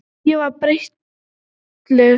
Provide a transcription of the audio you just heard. Ég var breytileg.